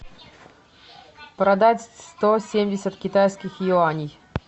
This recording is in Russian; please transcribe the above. продать сто семьдесят китайских юаней